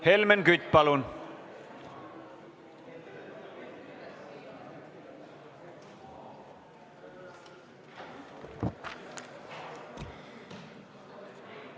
Helmen Kütt, palun!